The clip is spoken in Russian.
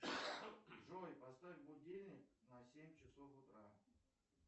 джой поставь будильник на семь часов утра